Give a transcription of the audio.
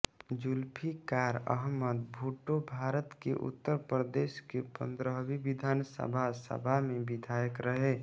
जुल्फिकार अहमद भुट्टोभारत के उत्तर प्रदेश की पंद्रहवी विधानसभा सभा में विधायक रहे